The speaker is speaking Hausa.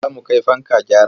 Za mu kai fanka gyara.